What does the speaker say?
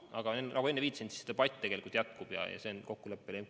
Aga nagu enne viitasin, debatt, millised need õigused ja võimalused peaksid olema, tegelikult jätkub.